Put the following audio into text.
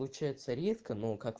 получается редко